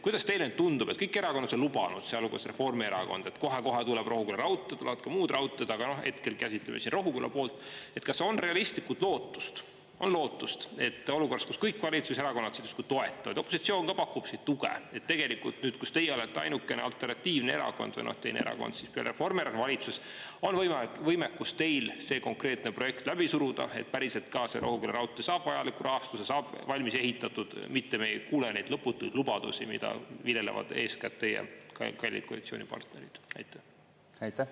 Kuidas teile tundub, kõik erakonnad on lubanud, sealhulgas Reformierakond, et kohe-kohe tuleb Rohuküla raudtee – ja tulevad ka muud raudteed, aga hetkel käsitleme siin Rohuküla poolt –, kas on realistlikult lootust, et olukorras, kus kõik valitsuserakonnad justkui toetavad, opositsioon ka pakub siin tuge, tegelikult nüüd, kus teie olete ainukene alternatiivne erakond või teine erakond peale Reformierakonna valitsuses, on võimekust teil see konkreetne projekt läbi suruda, et päriselt ka see Rohuküla raudtee saab vajaliku rahastuse, saab valmis ehitatud, mitte me ei kuule neid lõputuid lubadusi, mida viljelevad eeskätt teie kallid koalitsioonipartnerid?